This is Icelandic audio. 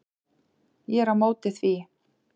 Ég er á móti því.